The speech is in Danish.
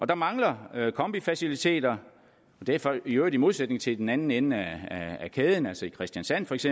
der mangler kombifaciliteter i øvrigt i modsætning til i den anden ende af kæden altså i kristiansand feks